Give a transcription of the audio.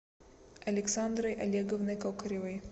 александрой олеговной кокоревой